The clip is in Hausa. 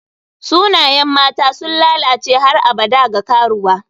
Sunayen mata sun lalace har abada ga karuwa.